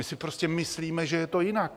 My si prostě myslíme, že je to jinak.